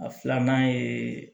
A filanan ye